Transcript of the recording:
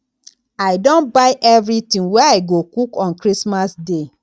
i don buy everything wey i go cook on christmas day